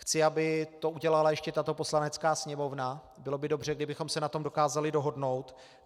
Chci, aby to udělala ještě tato Poslanecká sněmovna, bylo by dobře, kdybychom se na tom dokázali dohodnout.